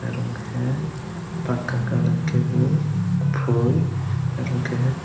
nung ke pakka kalar ke bo pui oroke.